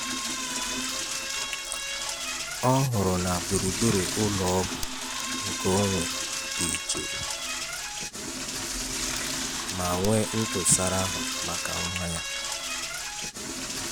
Ọ hụrụ na gburugburu ụlọ ọgwụ nkeonwe dị jụụ ma nwee ntụsara ahụ maka nwa ya.